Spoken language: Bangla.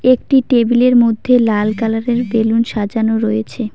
একটি টেবিল -এর মধ্যে লাল কালার -এর বেলুন সাজানো রয়েছে।